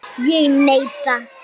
Ég neita.